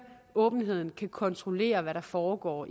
åbenheden kan kontrollere hvad der foregår